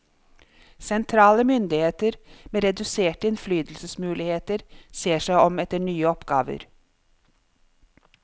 Sentrale myndigheter med reduserte innflytelsesmuligheter ser seg om etter nye oppgaver.